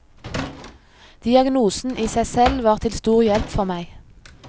Diagnosen i seg selv var til stor hjelp for meg.